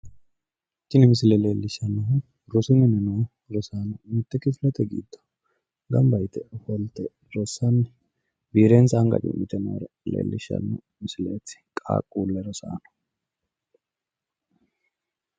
Tini misile leellishshannohu rosu mine no rosaano kifilete giddo gamba yite ofolte rossanni biirensa anga cu'mite noore leellishshanno misileeti, qaaqqule rosaano.